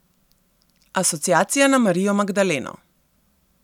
Asociacija na Marijo Magdaleno.